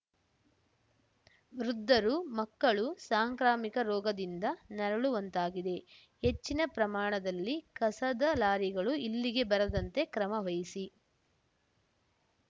ವೃದ್ಧರು ಮಕ್ಕಳು ಸಾಂಕ್ರಮಿಕ ರೋಗದಿಂದ ನರಳುವಂತಾಗಿದೆ ಹೆಚ್ಚಿನ ಪ್ರಮಾಣದಲ್ಲಿ ಕಸದ ಲಾರಿಗಳು ಇಲ್ಲಿಗೆ ಬರದಂತೆ ಕ್ರಮವಹಿಸಿ